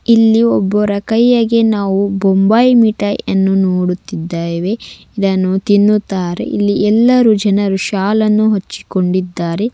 ಇಲ್ಲಿ ಒಬ್ಬರ ಕೈಯಗೆ ನಾವು ಬೊಂಬೈ ಮಿಠಾಯಿಯನ್ನು ನೋಡುತ್ತಿದ್ದೇವೆ ಇದನ್ನು ತಿನ್ನುತ್ತಾರೆ ಇಲ್ಲಿಎಲ್ಲರೂ ಜನರು ಶಾಲನ್ನು ಹಚ್ಚಿಕೊಂಡಿದ್ದಾರೆ.